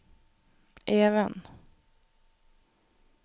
Even